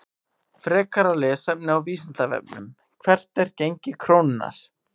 Frekara lesefni á Vísindavefnum: Hvert er gengi krónunnar?